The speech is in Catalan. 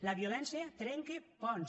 la violència trenca ponts